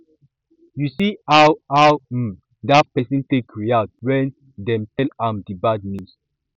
you see how how um dat person take react wen dem tell am di bad news